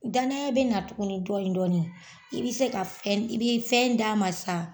Danaya bɛna tuguni dɔnnin dɔnnin i bi se ka fɛn, i bi fɛn d'a ma sa